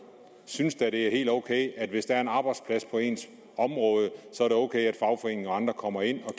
synes da at det er helt ok hvis der er en arbejdsplads på ens område at fagforeningen og andre kommer ind og